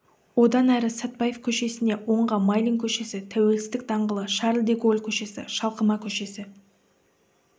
одан әрі сәтпаев көшесіне оңға майлин көшесі тәуелсіздік даңғылы шарль де голль көшесі шалқыма көшесі